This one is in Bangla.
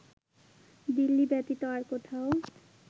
দিল্লী ব্যতীত আর কোথায়ও